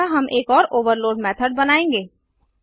अतः हम एक और ओवरलोड मेथड बनायेंगे